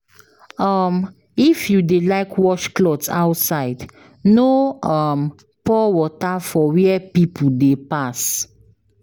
um If you dey like wash cloth outside, no um pour water for where pipo dey pass.